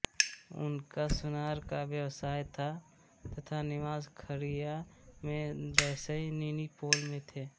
उनका सुनार का व्यवसाय था तथा निवास खाड़िया में दसैनीनीपोल में था